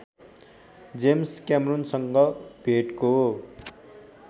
James कैमरूनसँग भेटको